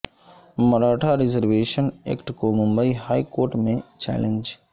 Maratha reservation act کو Mumbai high court میں challenge